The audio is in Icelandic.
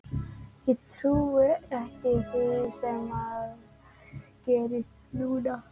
Ég trúi ekki því sem er að gerast núna.